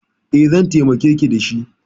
E, zan taimakeki da shi.